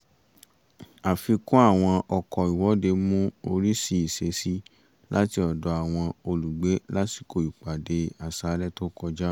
àfikún àwọn ọkọ̀ ìwọ́dé mú oríṣìí ìṣesí láti ọ̀dọ̀ àwọn olùgbé lásìkò ìpàdé àṣálẹ́ tó kọjá